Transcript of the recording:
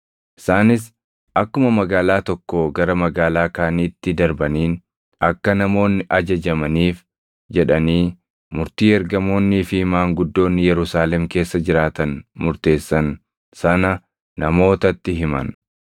Isaanis akkuma magaalaa tokkoo gara magaalaa kaaniitti darbaniin akka namoonni ajajamaniif jedhanii murtii ergamoonnii fi maanguddoonni Yerusaalem keessa jiraatan murteessan sana namootatti himan.